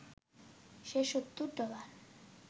সে ৭০ dollar